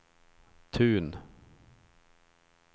Tun